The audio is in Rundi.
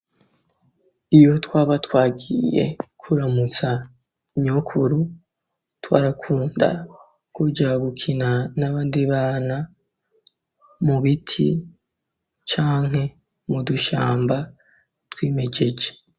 Iyo twaba twagiye kuramutsa nyokuru, twarakunda kuja gukina n'abandi bana mu biti, canke mu dushamba twimejeje.